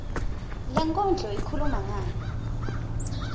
lenkondlo ikhuluma ngani